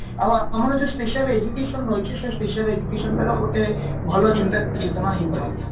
ଆଉ ଆମର ଯୋଉ special education ରହିଛି ସେଇ special educationର ଗୋଟେ ଭଲ ଚିନ୍ତା ହେଇପାରନ୍ତା